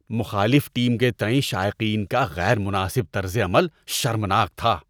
مخالف ٹیم کے تئیں شائقین کا غیر مناسب طرز عمل شرمناک تھا۔